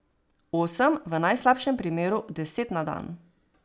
Osem, v najslabšem primeru deset na dan.